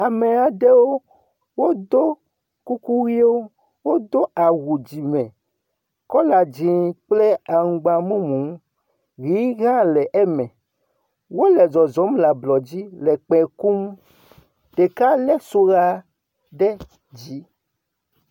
Ame aɖewo, wodo kuku ʋiwo. Wodo awu dzime kɔla dzẽ kple aŋgba mumu, ʋi hã le eme. Wole zɔzɔm le ablɔdzi le kpẽ kum. Ɖeka lé soxa ɖe dzi.